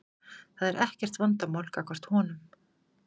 Það er ekkert vandamál gagnvart honum.